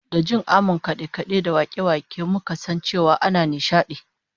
Da jin amon kade-kade da wake-wake muka san cewa ana nishadi